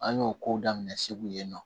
An y'o ko daminɛ segu yen nɔ